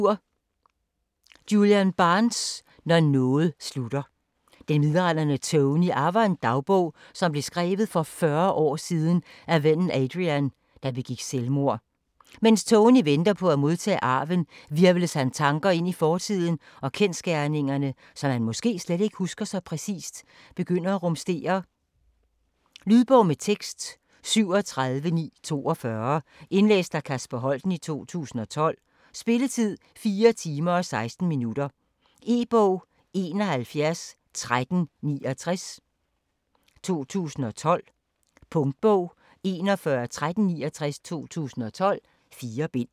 Barnes, Julian: Når noget slutter Den midaldrende Tony arver en dagbog, som blev skrevet for 40 år siden af vennen Adrian, der begik selvmord. Mens Tony venter på at modtage arven, hvirvles hans tanker ind i fortiden, og kendsgerningerne, som han måske slet ikke husker så præcist, begynder at rumstere. Lydbog med tekst 37942 Indlæst af Kasper Holten, 2012. Spilletid: 4 timer, 16 minutter. E-bog 711369 2012. Punktbog 411369 2012. 4 bind.